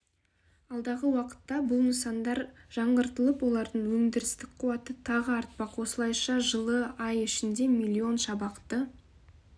алдағы уақытта бұл нысандар жаңғыртылып олардың өндірістік қуаты тағы артпақ осылайша жылы ай ішінде миллион шабақты